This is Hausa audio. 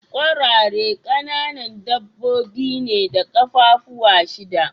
Kwarare kananan dabbobi ne da kaffafuwa shida.